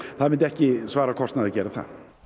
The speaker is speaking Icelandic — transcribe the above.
það myndi ekki svara kostnaði að gera það